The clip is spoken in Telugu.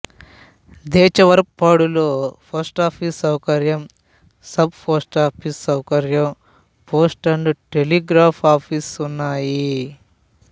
దెచవరప్పాడులో పోస్టాఫీసు సౌకర్యం సబ్ పోస్టాఫీసు సౌకర్యం పోస్ట్ అండ్ టెలిగ్రాఫ్ ఆఫీసు ఉన్నాయి